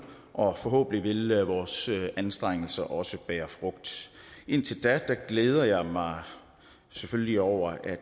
og forhåbentlig vil vores anstrengelser også bære frugt indtil da glæder jeg mig selvfølgelig over at